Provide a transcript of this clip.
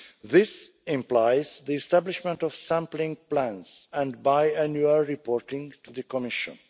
This implies the establishment of sampling plans and biannual reporting to the Commission.